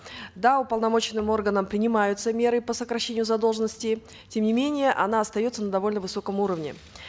да уполномоченным органом принимаются меры по сокращению задолженности тем не менее она остается на довольно высоком уровне